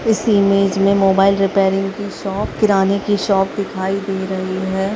इस इमेज मे mobile repairing की शॉप किराने की शॉप दिखाई दे रही है।